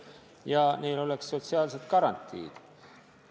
Ka peaksid neil olema sotsiaalsed garantiid.